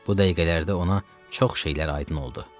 Bu dəqiqələrdə ona çox şeylər aydın oldu.